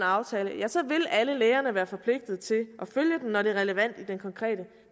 aftale ja så vil alle lægerne være forpligtet til at følge den når det er relevant i den konkrete